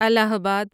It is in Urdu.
الہ آباد